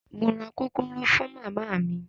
Mo ra kókóró fún màmá mi.